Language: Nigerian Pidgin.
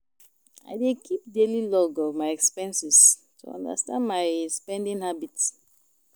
I dey keep daily log of my expenses to understand my spending habits.